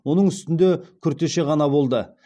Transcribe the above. оның үстінде күртеше ғана болды